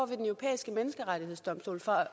europæiske menneskerettighedsdomstol for